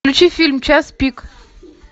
включи фильм час пик